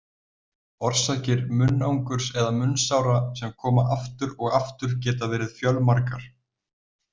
Orsakir munnangurs eða munnsára sem koma aftur og aftur geta verið fjölmargar.